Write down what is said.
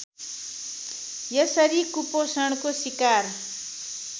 यसरी कुपोषणको सिकार